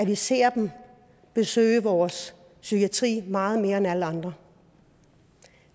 vi ser dem besøge vores psykiatri meget mere end alle andre